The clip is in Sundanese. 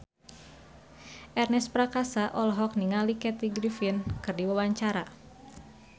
Ernest Prakasa olohok ningali Kathy Griffin keur diwawancara